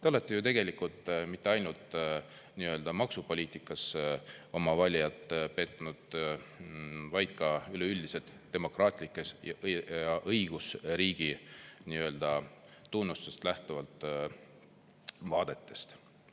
Te olete ju tegelikult mitte ainult maksupoliitikas oma valijat petnud, vaid ka üleüldiselt demokraatlikest ja õigusriigi tunnustest lähtuvalt vaadetest.